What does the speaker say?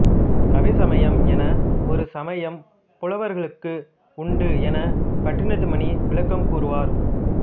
கவிசமயம் என ஒரு சமயம் புலவர்களுக்கு உண்டு என பண்டிதமணி விளக்கம் கூறுவார்